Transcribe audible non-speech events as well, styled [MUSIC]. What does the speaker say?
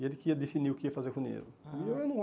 E ele que ia definir o que ia fazer com o dinheiro. Ah [UNINTELLIGIBLE]